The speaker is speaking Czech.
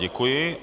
Děkuji.